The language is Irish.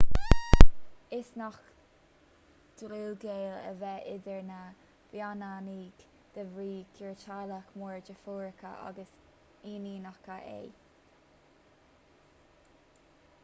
is gnách dlúthghaol a bheith idir na baineannaigh de bhrí gur teaghlach mór deirfiúracha agus iníonacha é